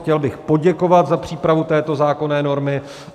Chtěl bych poděkovat za přípravu této zákonné normy.